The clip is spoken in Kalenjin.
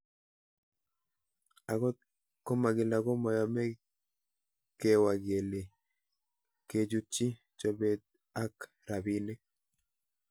Akot komakila ko mayamei kewa kele kechutchi chopet ak rabinik